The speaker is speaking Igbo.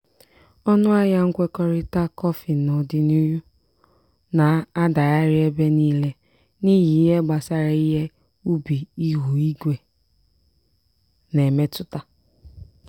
ọnụ ahịa nkwekọrịta kọfị n'ọdịniihu na-adagharị ebe niile n'ihi ihe gbasara ihe ubi ihu igwe na-emetụta.